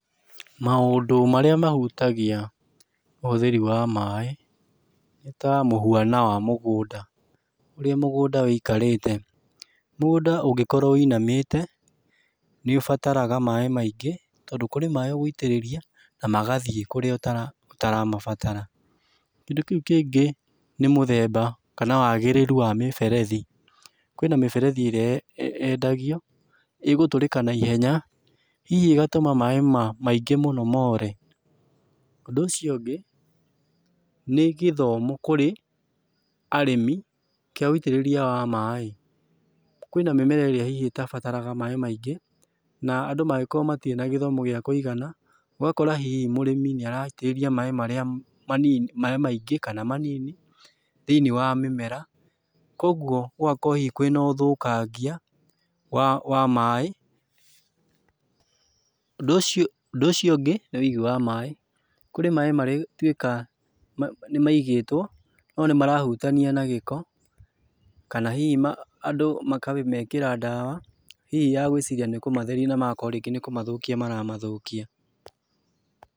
Maũndũ marĩa mahutagia ũhũthĩri wa maaĩ nĩ ta mũhuana wa mũgũnda, ũrĩa mũgũnda wĩikarĩte. Mũgũnda ũngĩkorwo wĩinamĩte nĩũbataraga maaĩ maingĩ tondũ kũrĩ maaĩ ũgũitĩrĩria na magathiĩ kũrĩa ũtaramabatara. Kĩndũ kĩu kĩngĩ nĩ mũthemba kana wagĩrĩru wa mĩberethi, kwĩna mĩberethi ĩrĩa yendagio igũtũrĩka na ihenya, hihi ĩgatuma maaĩ maingĩ mũno mo re. Ũndũ ũcio ũngĩ, nĩ gĩthomo kũrĩ arĩmĩ kĩa wĩitĩrĩria wa maaĩ, kwĩna mĩmera ĩrĩa hihi itabataraga maaĩ maingĩ na andũ mangĩkorwo matirĩ na gĩthomo gĩa kũigana ũgakora hihi mũrĩmi nĩaraitĩrĩrĩa maaĩ marĩa mani maaĩ maingĩ kana manini thĩiniĩ wa mĩmera , kogwo gũgakorwo hihi kwĩ na ũthũkangia wa maaĩ. Ũndũ ũcio ũndũ ũcio ũngĩ nĩ ũigi wa maaĩ, kũrĩ maaĩ marĩtuĩka nĩ maigĩtwo no nĩ marahutania na gĩko kana hihi andũ makamekĩra ndawa hihi ya gũĩciria nĩ kũmatheria na magakorwo nĩ kũmathũkia maramathũkia.